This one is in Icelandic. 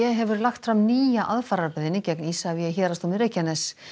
hefur lagt fram nýja aðfararbeiðni gegn Isavia í héraðsdómi Reykjaness